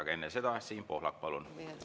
Aga enne seda, Siim Pohlak, palun!